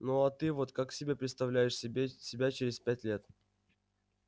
ну а ты вот как себе представляешь себе себя через пять лет